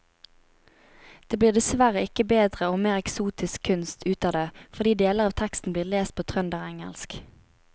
Det blir dessverre ikke bedre og mer eksotisk kunst ut av det fordi deler av teksten blir lest på trønderengelsk.